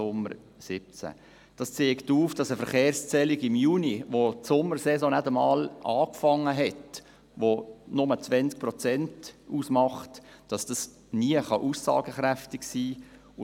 Dies zeigt auf, dass eine Verkehrszählung im Juni, wo die Sommersaison noch nicht einmal angefangen hat, niemals aussagekräftig sein kann.